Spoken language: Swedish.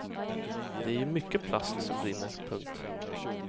Det är ju mycket plast som brinner. punkt